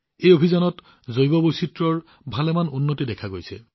এই অভিযানৰ বাবে জৈৱ বৈচিত্ৰ্যতো যথেষ্ট উন্নতি দেখা গৈছে